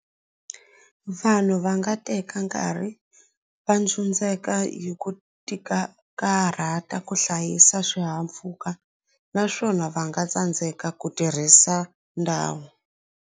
Vanhu va nga teka nkarhi va ndzundzeka hi ku ti karhata ku hlayisa swihahampfhuka naswona va nga tsandzeka ku tirhisa ndhawu.